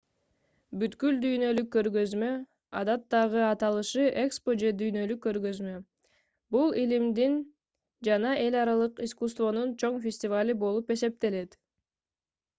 бүткүл дүйнөлүк көргөзмө адаттагы аталышы экспо же дүйнөлүк көргөзмө — бул илимдин жана эл аралык искусствонун чоң фестивалы болуп эсептелет